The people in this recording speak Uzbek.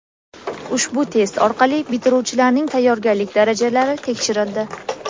Ushbu test orqali bitiruvchilarning tayyorgarlik darajalari tekshirildi.